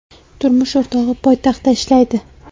Turmush o‘rtog‘i poytaxtda ishlaydi.